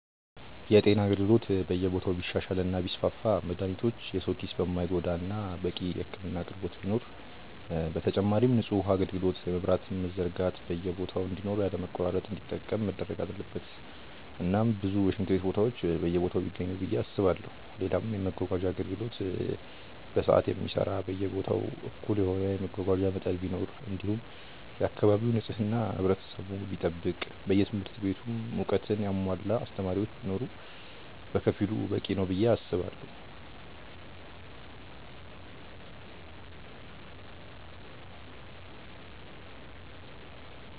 የጤና አገልግሎት በየቦታው ቢሻሻል እና ቢስፋፋ መድሃኒቶች የሰው ኪስ የማይጎዳ እናም በቂ የህክምና አቅርቦት ቢኖር፣ በተጨማሪም ንጹህ ውሃ አጋልግሎት የመብራትም መዘርጋት በየቦታ እንዲኖር ያለ መቆራረጥ እንዲጠቀም መደረግ አለበት እናም ብዙ የሽንት ቤት ቦታዎች በየቦታው ቢገኙ ብዬ አስባለው፣ ሌላም የመመጓጓዣ አገልግሎት በሰዓት የሚሰራ በየቦታው እኩል የሆነ የመጓጓዣ መጠን ቢኖር እንዲሁም የአካባቢ ንጽህና ህብረተሰቡ ቢጠብቅ በየትምህርት ቤቱም እውቀትን ያሙዋላ አስተማሪዎች ቢኖር በከፊሉ በቂ ነው ብዬ አስባለው።